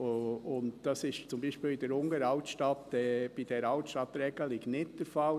Dies ist zum Beispiel in der unteren Altstadt, bei dieser Altstadtregelung, nicht der Fall.